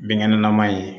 Binkɛnɛ nama ye